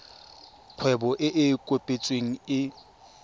kgwebo e e kopetsweng e